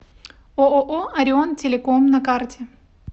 ооо орион телеком на карте